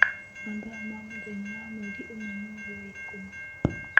Mathaa ma mũthenya wa mweri ĩmwe mwerĩ wa ĩkũmi.